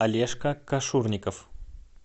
олежка кашурников